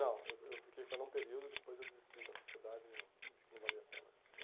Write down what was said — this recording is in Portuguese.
Não, eu eu fiquei com ela um período, depois eu desisti da sociedade e vi que não valia a pena, né?